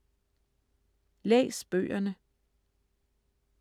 Læs bøgerne